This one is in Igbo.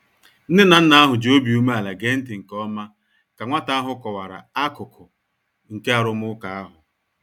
Nne na nna ahụ ji obi umeala gee ntị nke ọma ka nwata ahụ kọwara akụkụ nke arụmụka ahụ.